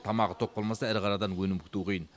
тамағы тоқ болмаса ірі қарадан өнім күту қиын